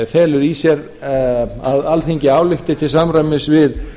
felur í sér að alþingi álykti til samræmis við